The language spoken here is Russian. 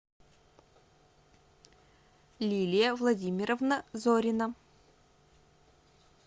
лилия владимировна зорина